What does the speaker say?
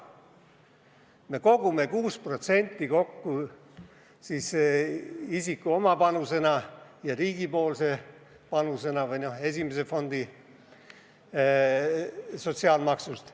Me kogume 6% palgasummast kokku isiku oma panusena ja riigi panusena ehk esimese fondi sotsiaalmaksust.